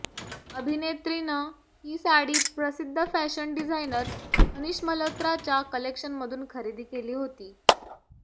अभिनेत्रीनं ही साडी प्रसिद्ध fashion designer Manish मल्होत्राच्या कलेक्शनमधून खरेदी केली होती